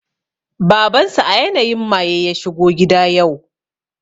Baban su a yanayin maye ya shigo gida yau